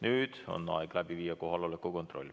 Nüüd on aeg läbi viia kohaloleku kontroll.